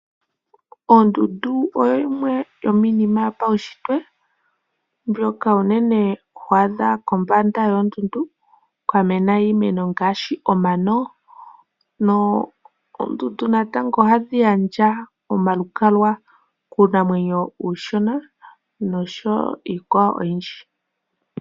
Ondundu oyo yimwe yomiinima yopaunshitwe mbyoka unene ho adha kombanda yoondundu kwa mena iimeno ngaashi omano. Oondundu natango ohadhi gandja omalukalwa kuunamwenyo uushona noshowo iikwawo oyindji.